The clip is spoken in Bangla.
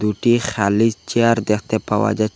দুটি খালি চেয়ার দেখতে পাওয়া যা--